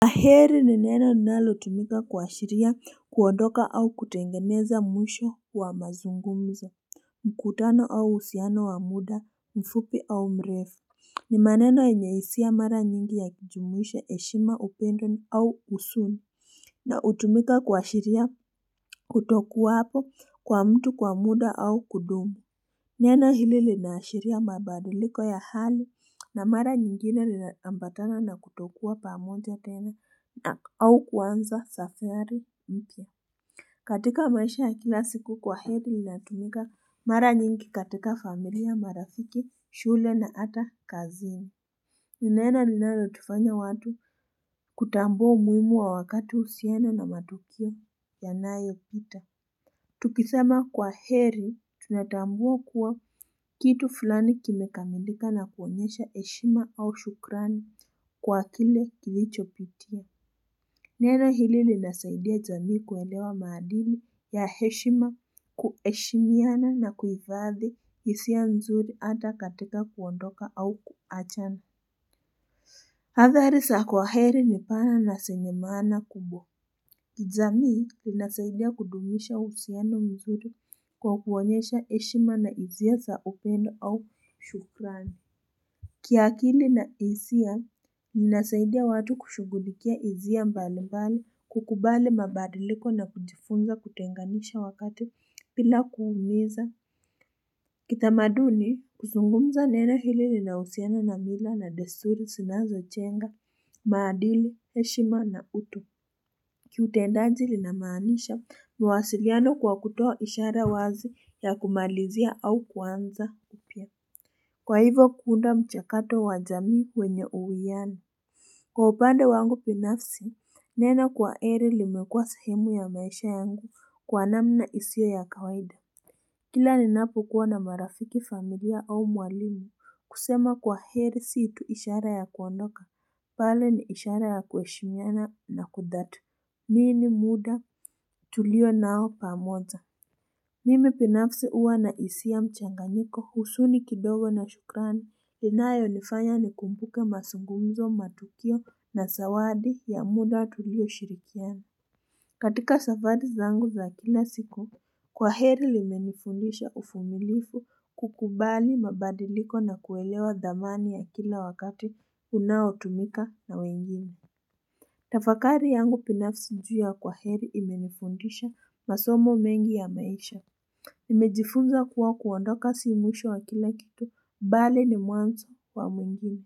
Kwaheri ni neno linalotumika kuashiria kuondoka au kutengeneza mwisho wa mazungumzo mkutano au uhusiano wa muda mfupi au mrefu ni maneno yenye hisia mara nyingi ya kujumuisha heshima upendo au huzuni na hutumika kuashiria kutokuwapo kwa mtu kwa muda au kudumu Nena hili linaashiria mabadaliko ya hali na mara nyingine linaambatana na kutokuwa pamoja tena au kuanza safari mpya. Katika maisha ya kila siku kwaheri linatumika mara nyingi katika familia, marafiki, shule na hata kazini. Ni neno linalotufanya watu kutambua umuhimu wa wakati uhusiana na matukio yanayopita. Tukisema kwaheri tunatambua kuwa kitu fulani kimekamilika na kuonyesha heshima au shukrani kwa kile kilichopitia. Neno hili linasaidia jamii kuelewa maadili ya heshima kuheshimiana na kuhifadhi hisia mzuri hata katika kuondoka au kuachana. Athari za kwaheri ni pana na zenye maana kubwa. Kijamii linasaidia kudumisha uhusiano mzuri kwa kuonyesha heshima na hisia za upendo au shukrani. Kiakili na hisia linasaidia watu kushughulikia hisia mbali mbali kukubali mabadiliko na kujifunza kutenganisha wakati bila kuumiza. Kitamaduni kuzungumza neno hili linahusiana na mila na desuri zinazojenga. Maadili, heshima na utu Kiutendaji linamaanisha mawasiliano kwa kutoa ishara wazi ya kumalizia au kuanza upya Kwa hivyo kuunda mchakato wa jamii wenye uwiano Kwa upande wangu binafsi, nena kwaheri limekua sahimu ya maisha yangu kwa namna isiyo ya kawaida Kila ninapokuwa na marafiki familia au mwalimu kusema kwaheri si tu ishara ya kuondoka pale ni ishara ya kuheshimiana na kudatu. Nini muda tulio nao pamoja? Mimi binafsi huwa na hisia mchanganyiko huzuni kidogo na shukrani. Linayonifanya nikumbuke mazungumzo matukio na zawadi ya muda tulioshirikiana. Katika safari zangu za kila siku, kwa heri limenifundisha uvumilivu kukubali mabadiliko na kuelewa thamani ya kila wakati. Unaotumika na wengine Tafakari yangu binafsi juu ya kwaheri imenifundisha masomo mengi ya maisha nimejifunza kuwa kuondoka si mwisho wa kila kitu Bali ni mwanzo wa mwingine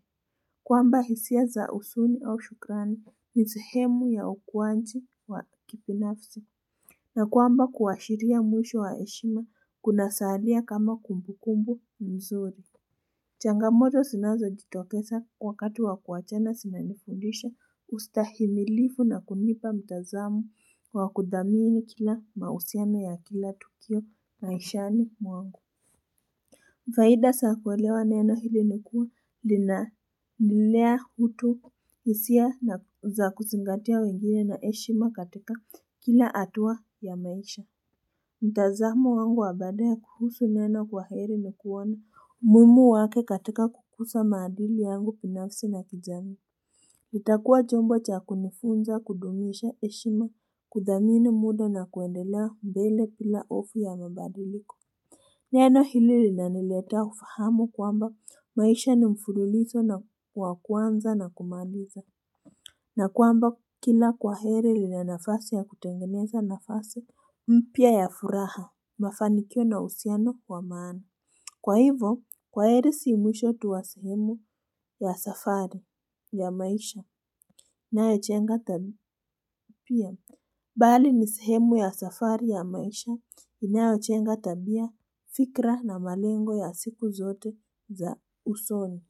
kwamba hisia za huzuni au shukrani ni sehemu ya ukuaji wa kibinafsi na kwamba kuashiria mwisho wa heshima Kunasalia kama kumbu kumbu mzuri Changamoto zinazojitokeza wakati wa kuachana zinanifundisha ustahimilifu na kunipa mtazamo wa kuthamini kila mahusiano ya kila tukio maishani mwangu. Faida za kuelewa neno hili nikuwa lina nilea utu hisia na za kuzingatia wengine na heshima katika kila hatua ya maisha. Mtazamo wangu wa baadaye kuhusu neno kwaheri ni kuona umuhimu wake katika kukuza maadili yangu binafsi na kijamii itakuwa chombo cha kunifunza kudumisha heshima kuthamini muda na kuendelea mbele bila hofu ya mabadiliko Neno hili linaniletea ufahamu kwamba maisha ni mfululizo wa kuanza na kumaliza na kwamba kila kwaheri lina nafasi ya kutengeneza nafasi mpya ya furaha mafanikio na uhusiano wa maana. Kwa hivyo kwaheri si mwisho tu wa sehemu ya safari ya maisha inayojenga tabia pia, bali ni sehemu ya safari ya maisha inayojenga tabia fikra na malengo ya siku zote za usoni.